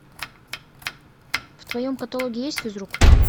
в твоем каталоге есть физрук